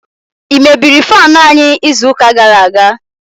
i mebiri faanu anyi izu uka gara aga?